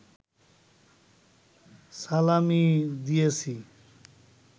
সালামি দিয়েছি